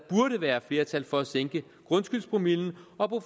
være flertal for at sænke grundskyldspromillen og